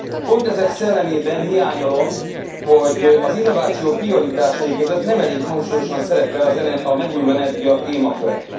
Pont ezek szellemében hiányolom, hogy az innováció prioritásai között nem elég hangsúlyosan szerepel a megújuló energia témaköre.